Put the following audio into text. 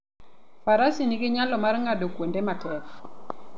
Faras nigi nyalo mar ng'ado kuonde matek.